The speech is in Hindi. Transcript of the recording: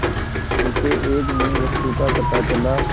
उसे एक नई वस्तु का पता चला